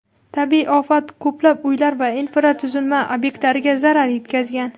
Tabiiy ofat ko‘plab uylar va infratuzilma ob’ektlariga zarar yetkazgan.